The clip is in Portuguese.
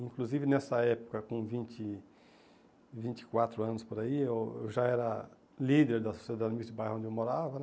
Inclusive, nessa época, com vinte vinte e quatro anos por aí, eu já era líder da Sociedade Mística do bairro onde eu morava.